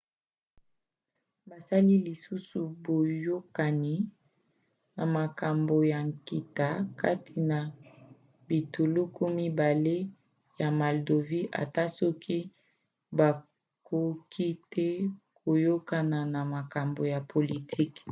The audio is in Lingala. basali lisusu boyokani na makambo ya nkita kati na bituluku mibale ya moldavie ata soki bakoki te koyokana na makambo ya politiki